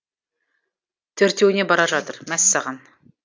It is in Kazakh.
төртеуіне бара жатыр мәссаған